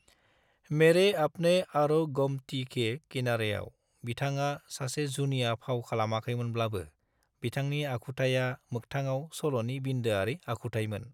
मेरे अपने आरो गोमती के किनारेआव, बिथाङा सासे जुनिया फाव खालामाखैमोनब्लाबो बिथांनि आखुथाया मोखथांआव सल'नि बिन्दोआरि आखुथायमोन।